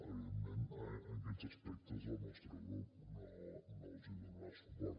evidentment en aquests aspectes el nostre grup no els hi donarà suport